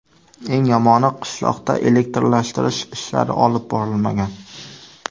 Eng yomoni qishloqda elektrlashtirish ishlari olib borilmagan.